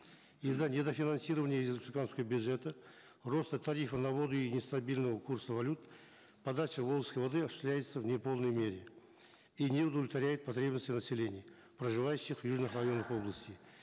из за недофинансирования из республиканского бюджета роста тарифа на воду и нестабильного курса валют подача волжской воды осуществляется в неполной мере и не удовлетворяет потребности населения проживающих в южных районах области